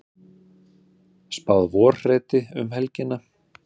Spáð vorhreti um helgina